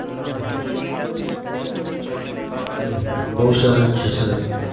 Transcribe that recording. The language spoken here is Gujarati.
હમ હમ હમ હમ બઉ સરસ છે sir